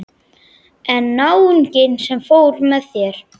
En náunginn sem fór með þér?